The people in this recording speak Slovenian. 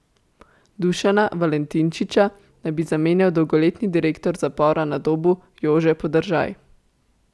Dušana Valentinčiča naj bi zamenjal dolgoletni direktor zapora na Dobu Jože Podržaj.